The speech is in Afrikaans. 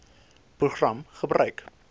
program gebruik